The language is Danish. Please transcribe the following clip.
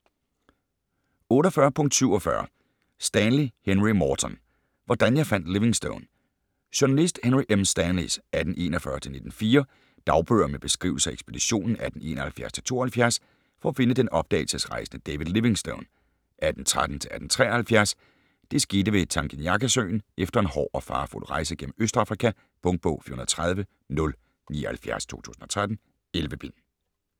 48.47 Stanley, Henry Morton: Hvordan jeg fandt Livingstone Journalist Henry M. Stanleys (1841-1904) dagbøger med beskrivelser af ekspeditionen 1871-1872 for at finde den opdagelsesrejsende David Livingstone (1813-1873). Det skete ved Tanganyikasøen efter en hård og farefuld rejse gennem Østafrika. Punktbog 413079 2013. 11 bind.